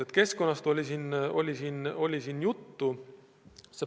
No keskkonnast juba oli juttu.